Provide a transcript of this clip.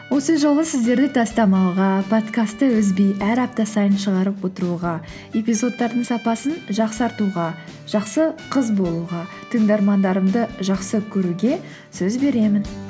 осы жолы сіздерді тастамауға подкастты үзбей әр апта сайын шығарып отыруға эпизодтардың сапасын жақсартуға жақсы қыз болуға тыңдармандарымды жақсы көруге сөз беремін